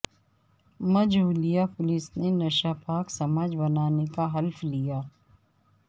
Majholia police نے نشہ پاک سماج بنانے کا حلف لیا